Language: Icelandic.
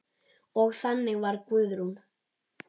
Og þannig var Guðrún.